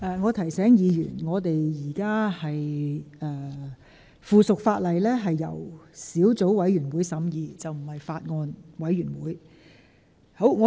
我提醒議員，附屬法例是由小組委員會而非法案委員會審議。